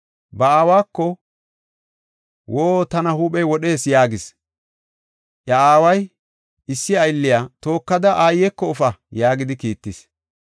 Ba aawako, “Woo! Tana huuphey wodhees; woo! Tana huuphey wodhees” yaagis. Iya aaway issi aylliya, “Tookada aayeko efa” yaagidi kiittis.